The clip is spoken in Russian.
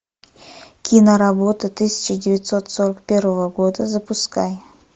киноработа тысяча девятьсот сорок первого года запускай